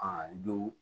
A don